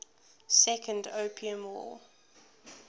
second opium war